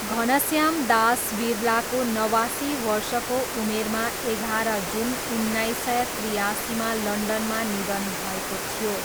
घनश्याम दास बिरलाको नवासी वर्षको उमेरमा एघार जुन उन्नाइस सय त्रियासीमा लन्डनमा निधन भएको थियो।